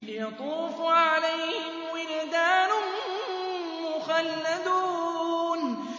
يَطُوفُ عَلَيْهِمْ وِلْدَانٌ مُّخَلَّدُونَ